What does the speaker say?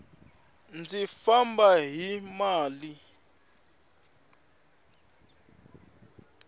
ndzi famba hi mali